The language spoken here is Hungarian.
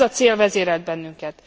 Ez a cél vezérelt bennünket.